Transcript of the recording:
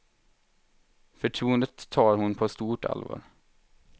Förtroendet tar hon på stort allvar.